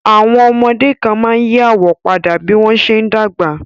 Àwọn ọmọdé kan máa ń yí àwọ̀ padà bí wọ́n ṣe ń dàgbà